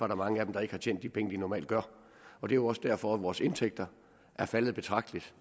der mange af dem der ikke har tjent de penge de normalt gør det er også derfor vores indtægter er faldet betragteligt